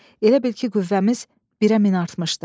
Elə bil ki, qüvvəmiz birə min artmışdı.